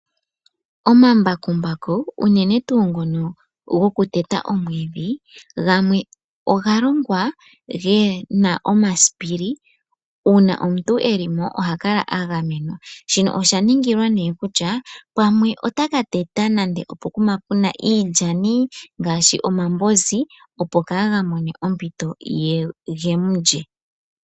Omambakumbaku uunene tuu ngono goku teta omwiidhi gamwe oga longwa gena omasipili, uuna omuntu e li mo ohakala a ga menwa shini osha ningilwa nee kutya pamwe otaka teta nande opokuma puna iilyani ngaashi omambozi, opo kaaga mone ompito ge mu lye.